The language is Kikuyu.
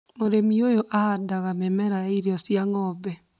Mũrĩmi ũyũ ahandaga mĩmera ya irio cia ng'ombe